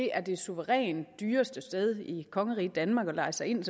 er det suverænt dyreste sted i kongeriget danmark at leje sig ind